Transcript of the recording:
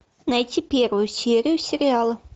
найти первую серию сериала